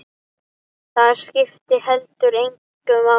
Það skipti heldur engu máli.